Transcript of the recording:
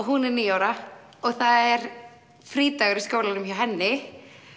hún er níu ára og það er frídagur í skólanum hjá henni